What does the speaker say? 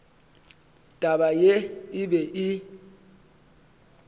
taba ye e be e